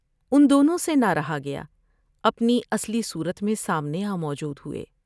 ان دونوں سے نہ رہا گیا ، اپنی اصلی صورت میں سامنے آ موجود ہوئے ۔